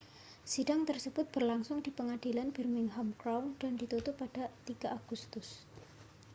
sidang tersebut berlangsung di pengadilan birmingham crown dan ditutup pada 3 agustus